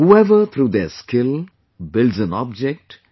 Whoever through their skill, builds an object